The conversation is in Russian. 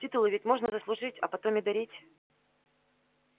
титулы ведь можно заслужить а потом и дарить